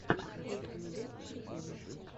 в ютьюбе приколы